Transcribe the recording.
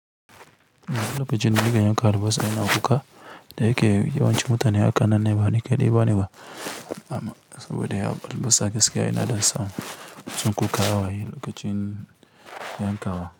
Lokacin da nike yankan albasa da wannan wuƙa, da yake yawancin mutane hakan nan ne ba ni kaɗai ne ba amma saboda ya balbasa gaskiya yana ɗan sa mutum kukan hawaye lokacin yanka wa.